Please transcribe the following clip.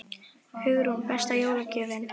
Hugrún: Besta jólagjöfin?